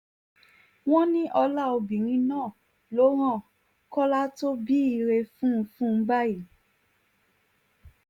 wọ́n ní ọlá obìnrin náà ló rán kọ́lá tó bí ire fún fún báyìí